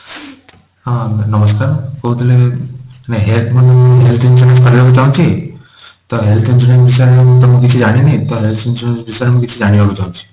ହଁ ନମସ୍କାର ମୁଁ କହୁଥିଲି health insurance କରିବାକୁ ଚାହୁଁଛି ତ health insurance ବିଷୟରେ ତ ମୁଁ କିଛି ଜାଣିନି ତ health insurance ବିଷୟରେ ମୁଁ କିଛି ଜାଣିବାକୁ ଚାହୁଛି।